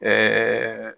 Ɛɛ